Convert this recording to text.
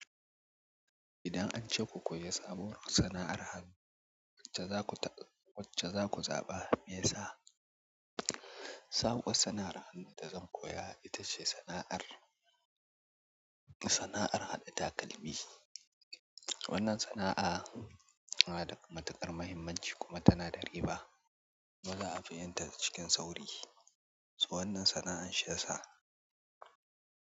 Idan ance ku koyi sabuwar sana'ar hannu, wacce zaku zaɓa meyasa? Sabuwar sana'ar hannu da zan koya ita ce sana'ar, sana'ar haɗa takalmi. Wannan sana'a tana da matuƙar muhimmanci kuma tana da riba. Baza'a fi yin ta cikin sauri. So wannan sana'ar shiyasa.